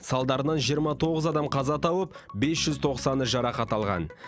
салдарынан жиырма тоғыз адам қаза тауып бес жүз тоқсаны жарақат алған